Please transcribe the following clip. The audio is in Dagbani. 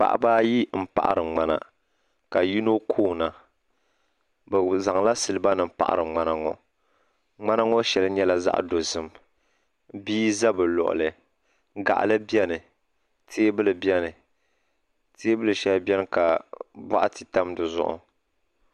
Paɣaba ayi m paɣari ŋmana ka yino koona bɛ zaŋla siliba nima paɣari ŋmana ŋɔ ŋmana ŋɔ sheli nyɛla zaɣa dozim bia za bɛ luɣuli gaɣali biɛni teebuli biɛni teebili sheli biɛni ka boɣati tam dizuɣu.